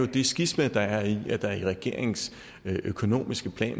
det skisma der er i at der i regeringens økonomiske plan